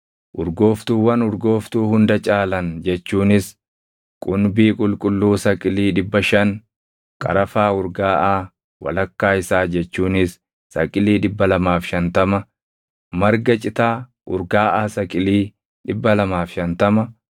“Urgooftuuwwan urgooftuu hunda caalan jechuunis qumbii qulqulluu saqilii 500, qarafaa urgaaʼaa walakkaa isaa jechuunis saqilii 250, marga citaa urgaaʼaa saqilii 250,